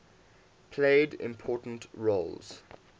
played important roles